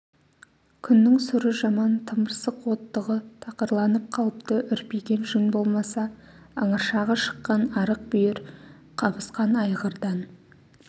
күннің сұры жаман тымырсық оттығы тақырланып қалыпты үрпиген жүн болмаса ыңыршағы шыққан арық бүйір қабысқан айғырдан